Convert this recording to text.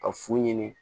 Ka fu ɲini